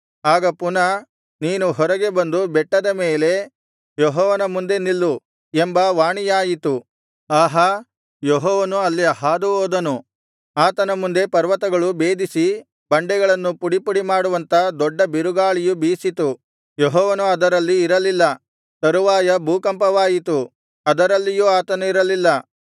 ಆಗ ಪುನಃ ನೀನು ಹೊರಗೆ ಬಂದು ಬೆಟ್ಟದ ಮೇಲೆ ಯೆಹೋವನ ಮುಂದೆ ನಿಲ್ಲು ಎಂಬ ವಾಣಿಯಾಯಿತು ಆಹಾ ಯೆಹೋವನು ಅಲ್ಲಿ ಹಾದು ಹೋದನು ಆತನ ಮುಂದೆ ಪರ್ವತಗಳು ಭೇದಿಸಿ ಬಂಡೆಗಳನ್ನು ಪುಡಿ ಪುಡಿಮಾಡುವಂಥ ದೊಡ್ಡ ಬಿರುಗಾಳಿಯು ಬೀಸಿತು ಯೆಹೋವನು ಅದರಲ್ಲಿ ಇರಲಿಲ್ಲ ತರುವಾಯ ಭೂಕಂಪವಾಯಿತು ಅದರಲ್ಲಿಯೂ ಆತನಿರಲಿಲ್ಲ